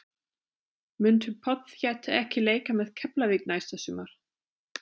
Muntu pottþétt ekki leika með Keflavík næsta sumar?